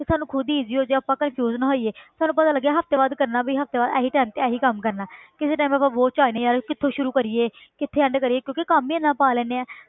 ਤੇ ਸਾਨੂੰ ਖੁੱਦ ਈਜੀ ਹੋ ਜਾਏ ਆਪਾਂ confuse ਨਾ ਹੋਈਏ ਸਾਨੂੰ ਪਤਾ ਲੱਗੇ ਹਫ਼ਤੇ ਬਾਅਦ ਕਰਨਾ ਵੀ ਹਫ਼ਤੇ ਬਾਅਦ ਇਹੀ time ਤੇ ਇਹੀ ਕੰਮ ਕਰਨਾ ਹੈ ਕਿਸੇ time ਆਪਾਂ ਬੋਝ 'ਚ ਆ ਜਾਨੇ ਯਾਰ ਕਿੱਥੋਂ ਸ਼ੁਰੂ ਕਰੀਏ ਕਿੱਥੇ end ਕਰੀਏ ਕਿਉਂਕਿ ਕੰਮ ਹੀ ਇੰਨਾ ਪਾ ਲੈਂਦੇ ਹਾਂ।